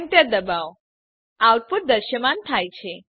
enter દબાવો output દ્રશ્યમાન થાય છે